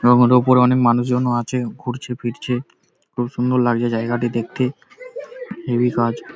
এবং ওর ওপরে অনেক মানুষজনও আছে ঘুরছে ফিরছে খুব সুন্দর লাগছে জায়গাটি দেখতে। হেবি কাজ।